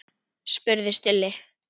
spurði Stulli.